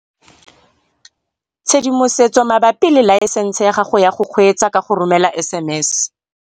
Tshedimosetso mabapi le laesense ya gago ya go kgweetsa ka go romela SMS